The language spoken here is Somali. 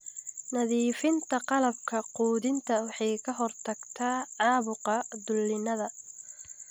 nadiifinta qalabka quudinta waxay ka hortagtaa caabuqa dulinnada.